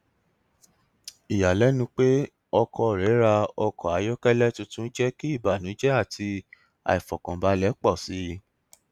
ìyàlẹnu pé ọkọ rẹ ra ọkọ ayọkẹlẹ tuntun jẹ kí ìbànújẹ àti aifọkànbalẹ pọ síi